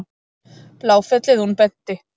Bláfellið, hún benti.